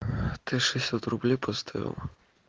ты шестьдесят рублей поставил